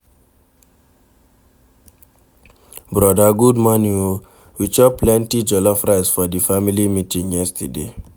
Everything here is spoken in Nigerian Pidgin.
Broda good morning o, we chop plenty jollof rice for di family meeting yesterday.